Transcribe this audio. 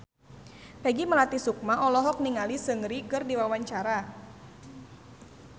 Peggy Melati Sukma olohok ningali Seungri keur diwawancara